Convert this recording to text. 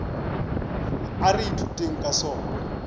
a re ithuteng ka sona